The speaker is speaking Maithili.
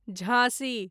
झाँसी